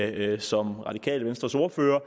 at jeg som radikale venstres ordfører